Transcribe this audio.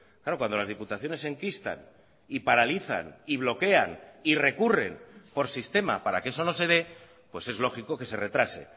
claro cuando las diputaciones se enquistan y paralizan y bloquean y recurren por sistema para que eso no se dé pues es lógico que se retrase